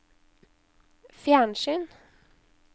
fjernsyn